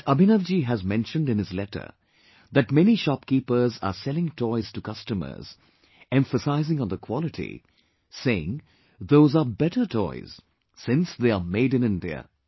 But Abhinav ji has mentioned in his letter that many shopkeepers are selling toys to customers emphasizing on the quality, saying those are better toys since they are Made In India